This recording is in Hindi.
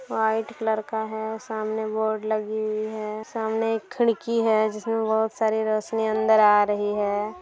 व्हाइट कलर का है सामने बोर्ड लगी हुई है सामने एक खिड़की है जिसमें बहुत सारी रोशनी अंदर आ रही हैं।